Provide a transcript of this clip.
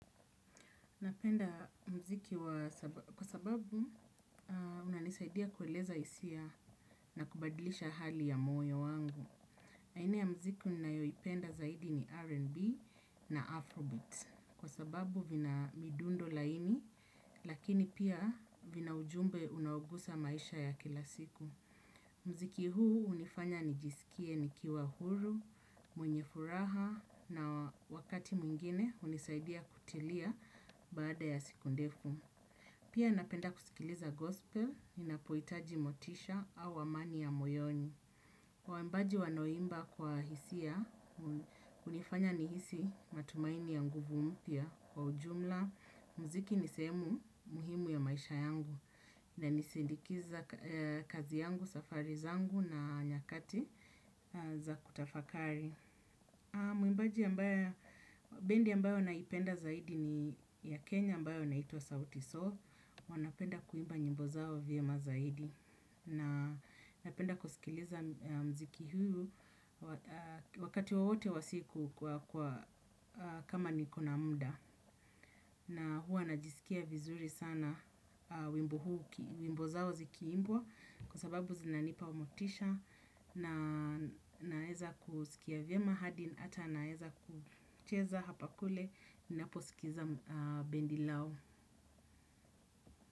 Napenda mziki kwa sababu unanisaidia kueleza isia na kubadilisha hali ya moyo wangu. Aina ya mziki unayoipenda zaidi ni R&B na Afrobeat. Kwa sababu vina midundo laini, lakini pia vina ujumbe unaogusa maisha ya kila siku. Mziki huu unifanya nijisikie nikiwa huru, mwenye furaha na wakati mwingine unisaidia kutilia baada ya siku ndefu. Pia napenda kusikiliza gospel, ninapoitaji motisha au amani ya moyoni. Waimbaji wanaoimba kwa hisia, unifanya nihisi matumaini ya nguvu mpya kwa ujumla. Muziki ni sehemu muhimu ya maisha yangu nanisindikiza kazi yangu, safari zangu na nyakati za kutafakari. Mwimbaji ambae, bendi ambayo naipenda zaidi ni ya Kenya ambayo inaitwa Sauti Sol. Wanapenda kuimba nyimbo zao vyema zaidi. Na napenda kusikiliza mziki huu wakati wowote wa siku kama niko na muda. Na huwa najisikia vizuri sana wimbo zao zikiimbwa. Kwa sababu zinanipa motisha na naeza kuskia vyema hadi ara naeza kucheza hapa kule naposikiza bendi lao.